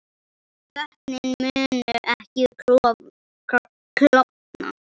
Vötnin munu ekki klofna